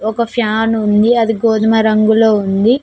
ఒక ఫ్యాన్ ఉంది అది గోధుమ రంగులో ఉంది.